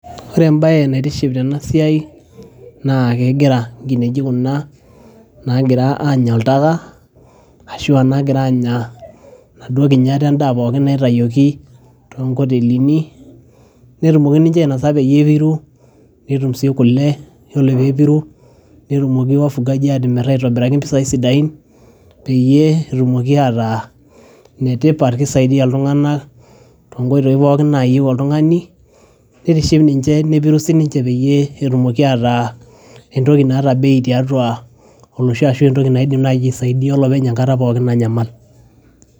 ore embaye naitiship tena siai naa kegira nkineji kuna nagira anya oltaka ashua nagira anya naduo kinyat endaa pookin naitayioki tonkotelini netumoki ninche ainasa peyie epiru netum sii kule yiolo peepiru netumoki wafugaji atimirr aitobiraki impisai sidain peyie etumoki ataa inetipat kisaidia iltung'anak tonkoitoi pookin nayieu oltung'ani nitiship ninche nepiru sininche peyie etumoki ataa entoki naata bei tiatua olosho ashua entoki naidim naaji aisaidia olopeny enkata pookin nanyamal.